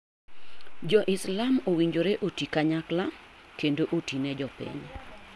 Jo Islam owinjore oti kanyakla kendo oti ne jopiny.